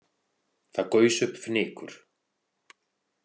Það gaus upp fnykur.